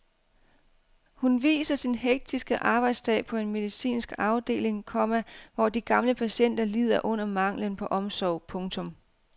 Hun viser sin hektiske arbejdsdag på en medicinsk afdeling, komma hvor de gamle patienter lider under manglen på omsorg. punktum